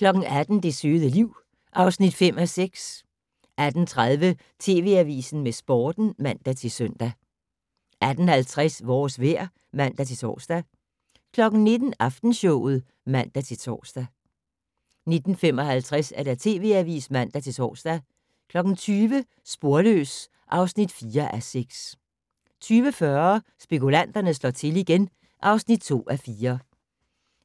18:00: Det søde liv (5:6) 18:30: TV Avisen med Sporten (man-søn) 18:50: Vores vejr (man-tor) 19:00: Aftenshowet (man-tor) 19:55: TV Avisen (man-tor) 20:00: Sporløs (4:6) 20:40: Spekulanterne slår til igen (2:4)